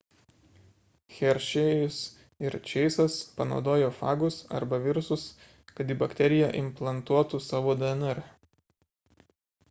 hershey'jus ir chase'as panaudojo fagus arba virusus kad į bakteriją implantuotų savo dnr